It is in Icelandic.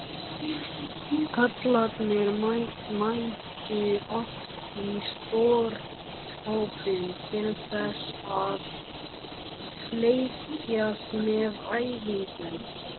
Kallarnir mættu oft í stórhópum til að fylgjast með æfingunum.